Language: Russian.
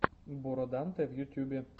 бороданте в ютьюбе